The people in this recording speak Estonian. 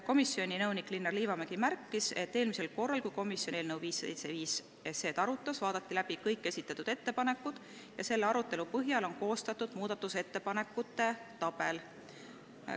Komisjoni nõunik Linnar Liivamägi märkis, et eelmisel korral, kui komisjon eelnõu 575 arutas, vaadati läbi kõik esitatud ettepanekud ja selle arutelu põhjal on koostatud muudatusettepanekute tabel.